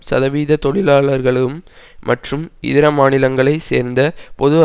சதவீத தொழிலாளர்களும் மற்றும் இதர மாநிலங்களை சேர்ந்த பொது